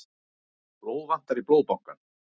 Blóð vantar í Blóðbankann